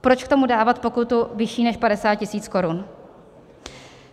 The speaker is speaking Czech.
Proč k tomu dávat pokutu vyšší než 50 000 korun?